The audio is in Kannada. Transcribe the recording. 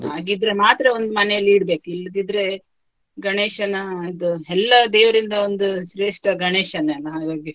ಹಾಗಿದ್ರೆ ಮಾತ್ರ ಒಂದು ಮನೆಯಲ್ಲಿ ಇಡ್ಬೇಕು ಇಲ್ಲದಿದ್ರೆ, ಗಣೇಶನ ಇದು ಎಲ್ಲ ದೇವರಿಂದ ಒಂದು ಶ್ರೇಷ್ಟ ಗಣೇಶನೆ ಅಲ್ಲ ಹಾಗಾಗಿ.